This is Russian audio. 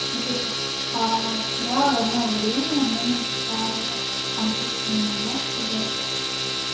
смотрите вчера в одно время мы написали обращение да в поддержку